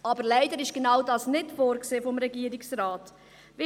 Aber leider ist genau dies vom Regierungsrat nicht vorgesehen.